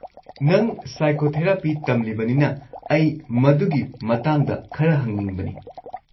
ꯅꯪ ꯁꯥꯏꯀꯣꯊꯦꯔꯥꯄꯤ ꯇꯝꯂꯤꯕꯅꯤꯅ, ꯑꯩ ꯃꯗꯨꯒꯤ ꯃꯇꯥꯡꯗ ꯈꯔ ꯍꯪꯅꯤꯡꯕꯅꯦ꯫